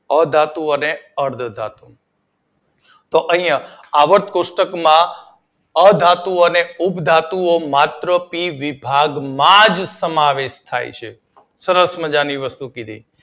અધાતુઓ અને અર્ધ ધાતુઓ તો અહિયાં આવર્ત કોષ્ટક માં અધાતુઓ અને ઉપ ધાતુઓ ફક્ત પી વિભાગમાં જ સમાવેશ થાય ચે. સરસ મજાની વસ્તુ કીધી